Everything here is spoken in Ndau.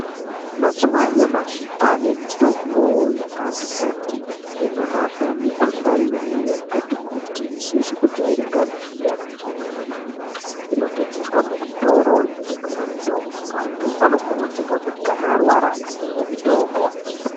Mazuwaanyamashi kwaane mitombo yakati kuti inorape mikuhlani yakati kuti isizi kujairikapi neyakajairika kwemene inotengeswa muzvitoro zvinotengese mitombo anthu anokurudzirwa kuti kana arwara atenge mitombo.